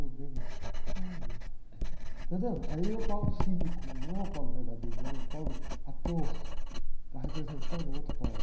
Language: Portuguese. Meu bem, mas, olha... Entendeu? Aí é o cínico, não é o verdadeiro, é o ator, está representando o outro Paulo.